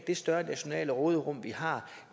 det større nationale råderum vi har